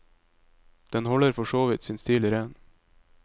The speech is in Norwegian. Den holder for så vidt sin stil ren.